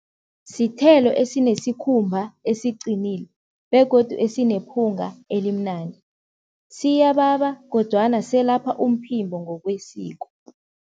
Sithelo esinesikhumba esiqinile begodu esinephunga elimnandi. Siyababa kodwana selapha umphimbo ngokwesiko.